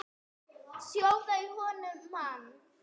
Sjóða í honum mann!